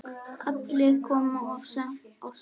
Kallið kom of snemma.